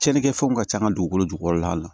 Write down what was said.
Tiɲɛnikɛ fɛnw ka can an ka dugukolo jukɔrɔla la